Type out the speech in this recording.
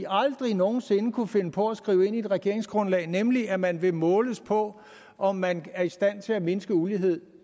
aldrig nogen sinde kunne finde på at skrive ind i et regeringsgrundlag nemlig at man vil måles på om man er i stand til at mindske ulighed